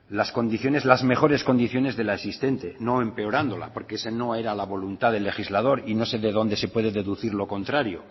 las condiciones las mejores condiciones de la existente no empeorándola porque esa no era la voluntad del legislador y no sé de donde se puede deducir lo contrario